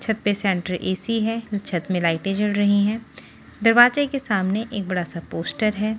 छत पे centre AC है छत में लाइटें जड़ रही हैं दरवाजे के सामने एक बड़ा सा पोस्टर है।